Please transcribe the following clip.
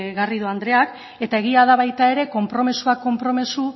garrido andreak eta egia da baita ere konpromisoak konpromiso